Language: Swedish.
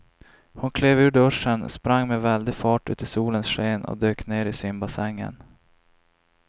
Hon klev ur duschen, sprang med väldig fart ut i solens sken och dök ner i simbassängen.